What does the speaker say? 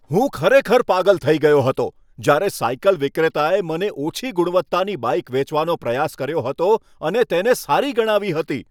હું ખરેખર પાગલ થઈ ગયો હતો જ્યારે સાયકલ વિક્રેતાએ મને ઓછી ગુણવત્તાની બાઈક વેચવાનો પ્રયાસ કર્યો હતો અને તેને સારી ગણાવી હતી.